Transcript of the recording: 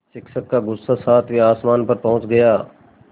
शिक्षक का गुस्सा सातवें आसमान पर पहुँच गया